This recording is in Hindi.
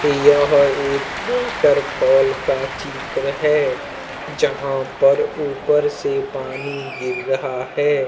यह एक वॉटरफॉल का चित्र है जहाँ पर ऊपर से पानी गिर रहा है।